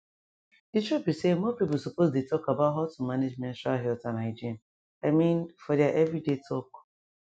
the truth be be say more people suppose dey talk about how to manage menstrual health and hygiene i mean for their everyday talk